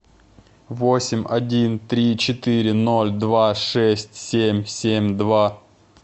восемь один три четыре ноль два шесть семь семь два